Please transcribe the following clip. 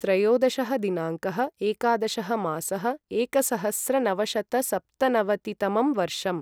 त्रयोदशः दिनाङ्कः एकादशः मासः एकसहस्रनवशतसप्तनवतितमं वर्षम्